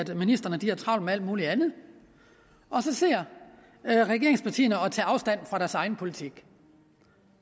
ministrene har travlt med alt muligt andet og så sidder regeringspartierne og tager afstand fra deres egen politik